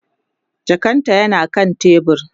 jakan ta yana kan tebur